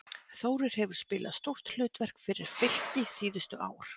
Þórir hefur spilað stórt hlutverk fyrir Fylki síðustu ár.